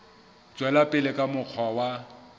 tswela pele ka mokgwa wa